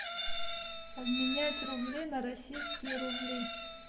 обменять рубли на российские рубли